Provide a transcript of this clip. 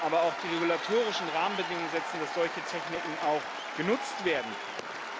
aber auch die regulatorischen Rahmenbedingungen setzen, dass solche Techniken auch genutzt werden können.